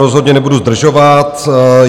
Rozhodně nebudu zdržovat.